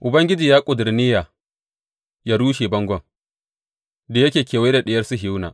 Ubangiji ya ƙuduri niyya yă rushe bangon da yake kewaye da Diyar Sihiyona.